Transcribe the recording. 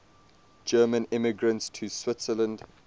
german immigrants to switzerland